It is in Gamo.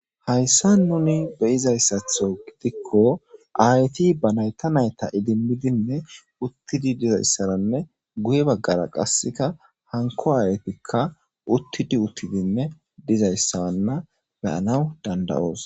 Hayssa nuni beyizayssatho gidikko ayti ba nayta nayta idimmidinne uttidi dizayssaranne guye baggara qasseka hanko aaytikka uttidi uttidinne dizayssawanna beyanaw dandawoos.